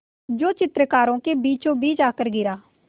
जो चित्रकारों के बीचोंबीच आकर गिरा